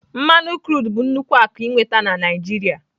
mmanụ krudụ bụ nnukwu akụ ịnweta na Naijiria.